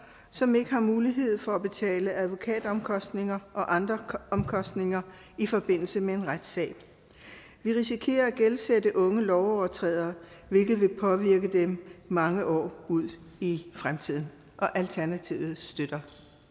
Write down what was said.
som ikke har mulighed for at betale advokatomkostninger og andre omkostninger i forbindelse med en retssag vi risikerer at gældsætte unge lovovertrædere hvilket vil påvirke dem mange år ud i fremtiden alternativet støtter